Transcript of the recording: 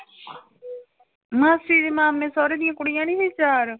ਮਾਸੀ ਦੇ ਮਾਮੇ ਸਹੁਰੇ ਦੀਆਂ ਕੁੜੀਆਂ ਨੀ ਸੀ ਚਾਰ